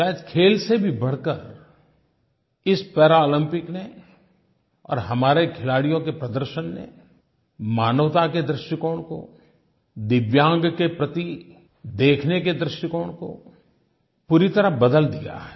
शायद खेल से भी बढ़कर इस पैरालम्पिक्स ने और हमारे खिलाड़ियों के प्रदर्शन ने मानवता के दृष्टिकोण को दिव्यांग के प्रति देखने के दृष्टिकोण को पूरी तरह बदल दिया है